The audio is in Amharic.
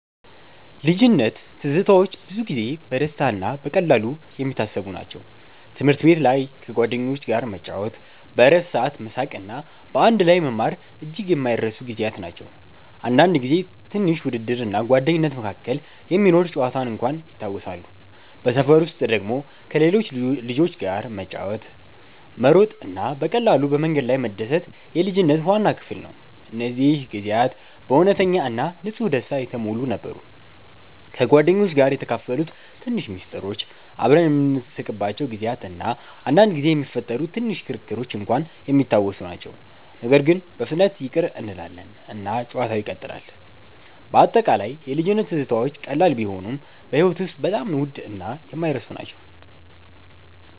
ልጅነት ትዝታዎች ብዙ ጊዜ በደስታ እና በቀላሉ የሚታሰቡ ናቸው። ትምህርት ቤት ላይ ከጓደኞች ጋር መጫወት፣ በእረፍት ሰዓት መሳቅ እና በአንድ ላይ መማር እጅግ የማይረሱ ጊዜያት ናቸው። አንዳንድ ጊዜ ትንሽ ውድድር እና ጓደኝነት መካከል የሚኖር ጨዋታ እንኳን ይታወሳሉ። በሰፈር ውስጥ ደግሞ ከሌሎች ልጆች ጋር ኳስ መጫወት፣ መሮጥ እና በቀላሉ በመንገድ ላይ መደሰት የልጅነት ዋና ክፍል ነው። እነዚህ ጊዜያት በእውነተኛ እና ንጹህ ደስታ የተሞሉ ነበሩ። ከጓደኞች ጋር የተካፈሉት ትንሽ ምስጢሮች፣ አብረን የምንስቅባቸው ጊዜያት እና አንዳንድ ጊዜ የሚፈጠሩ ትንሽ ክርክሮች እንኳን የሚታወሱ ናቸው። ነገር ግን በፍጥነት ይቅር እንላለን እና ጨዋታው ይቀጥላል። በአጠቃላይ የልጅነት ትዝታዎች ቀላል ቢሆኑም በሕይወት ውስጥ በጣም ውድ እና የማይረሱ ናቸው።